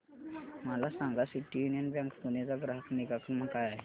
मला सांगा city union bank Pune चा ग्राहक निगा क्रमांक काय आहे